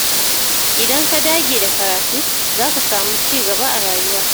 Idan ka dage da karatu, za ka samu ci gaba a rayuwa.